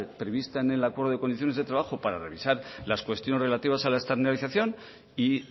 prevista en el acuerdo de condiciones de trabajo para revisar las cuestiones relativas a la externalización y